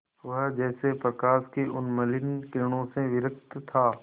वह जैसे प्रकाश की उन्मलिन किरणों से विरक्त था